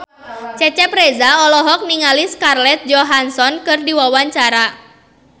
Cecep Reza olohok ningali Scarlett Johansson keur diwawancara